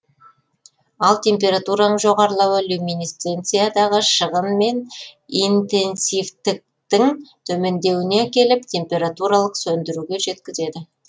ал температураның жоғарылауы люминесценциядағы шығын мен интенсивтіктің төмендеуіне әкеліп температуралық сөндіруге жеткізеді